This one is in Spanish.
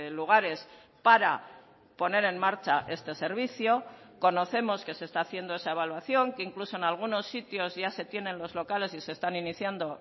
lugares para poner en marcha este servicio conocemos que se está haciendo esa evaluación que incluso en algunos sitios ya se tienen los locales y se están iniciando